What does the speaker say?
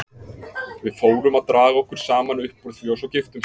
Við fórum að draga okkur saman upp úr því og svo giftumst við.